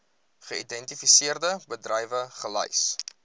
geïdentifiseerde bedrywe gelys